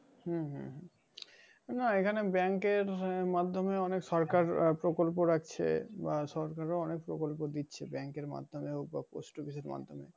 উম না এখানে bank এর মাধ্যমে অনেক সরকার প্রকল্প রাখছে বা সরকার ও অনেক প্রকল্প দিচ্ছে bank এর মাধ্যমে।